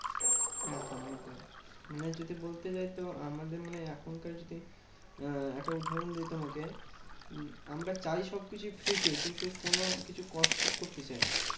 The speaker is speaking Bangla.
একদম একদম। মানে যদি বলতে যাই তো, আমাদের মানে এখনকার সেই আহ একটা উদাহরণ দিই তোমাকে, আমরা চাই সবকিছু free তে কিন্তু কোনোকিছু কষ্ট করতে চাই না।